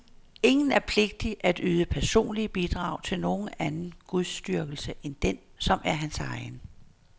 Ingen er pligtig at yde personlige bidrag til nogen anden gudsdyrkelse end den, som er hans egen.